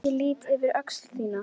Ég lýt yfir öxl þína.